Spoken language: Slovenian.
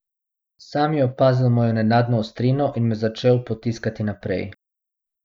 Sam je opazil mojo nenadno ostrino in me začel potiskati naprej.